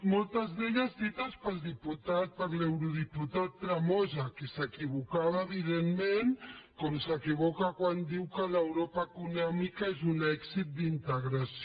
moltes d’elles dites per l’eurodiputat tremosa que s’equivocava evidentment com s’equivoca quan diu que l’europa econòmica és un èxit d’integració